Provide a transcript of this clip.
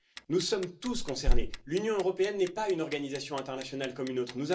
Nous sommes tous concernés, l'Union européenne n'est pas une organisation internationale comme une autre.